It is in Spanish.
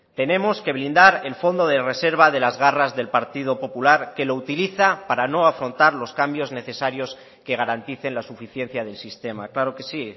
tenemos que blindar el fondo de reserva de las garras del partido popular que lo utiliza para no afrontar los cambios necesarios que garanticen la suficiencia del sistema claro que sí